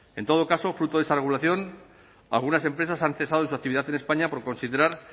en todo caso fruto de esa regulación algunas empresas han cesado su actividad en españa por considerar